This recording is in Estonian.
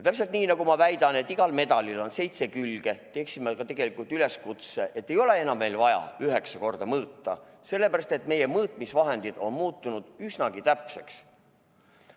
Aga nii, nagu ma väidan, et igal medalil on seitse külge, teen ma tegelikult üleskutse, et ei ole enam meil vaja üheksa korda mõõta, sellepärast et meie mõõtmisvahendid on muutunud üsnagi täpseks.